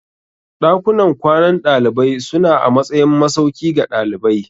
Dakunan kwanan dalibai suna a matsayin masauki ga dalibai.